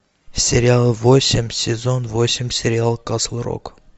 сериал восемь сезон восемь сериал касл рок